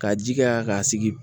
Ka ji kɛ k'a sigi